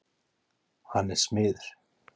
Hann er smiður.